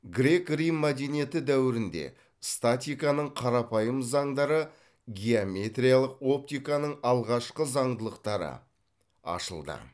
грек рим мәдениеті дәуірінде статиканың қарапайым заңдары геометриялық оптиканың алғашқы заңдылықтары ашылды